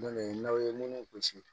Don dɔ ye n'aw ye minnu gosi